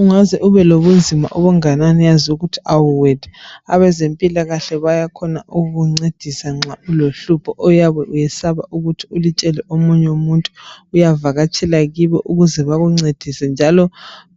Ungaze ubelobunzima obunganani yazi ukuthi awuwedwa abezempilakahle bayakhona ukukuncedisa nxa ulohlupho oyabe uyesaba ukuthi ulutshele omunye umuntu uyavakatshela kibo ukuze bekuncedise njalo